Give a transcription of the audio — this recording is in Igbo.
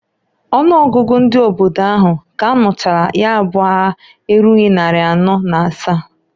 Ọnụ ọgụgụ ndị obodo ahụ k'anụchalụ ya bụ aya erughi nnarị anọọ na asa.